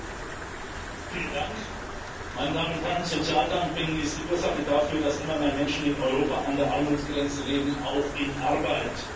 Frau Präsidentin, meine Damen und Herren! Sozialdumping ist die Ursache dafür, dass immer mehr Menschen in Europa an der Armutsgrenze leben, auch in Arbeit.